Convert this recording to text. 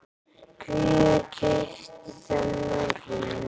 Hver keypti þennan hring?